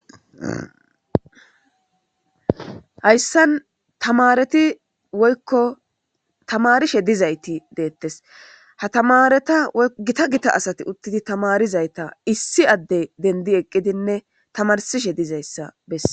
hayssan tamareti woykko tamarishe dizayti deettes ha tamareta gita gita asati uttidi tamarizayta issi adde dendi eqqidinne tamarsishe dizayssa besse